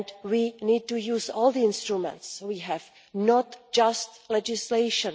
We need to use all the instruments we have, not just legislation.